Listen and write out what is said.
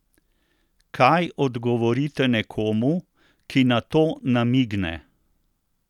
Kaj odgovorite nekomu, ki na to namigne?